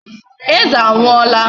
Eze anwụọla.